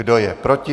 Kdo je proti?